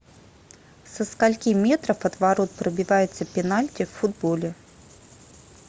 со скольки метров от ворот пробивается пенальти в футболе